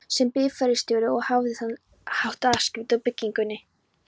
sem bifreiðarstjóri, og hafði á þann hátt afskipti af byggingunni.